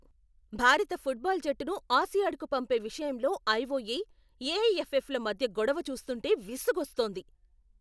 భారత ఫుట్బాల్ జట్టును ఆసియాడ్కు పంపే విషయంలో ఐఓఏ, ఏఐఎఫ్ఎఫ్ల మధ్య గొడవ చూస్తుంటే విసుగొస్తోంది.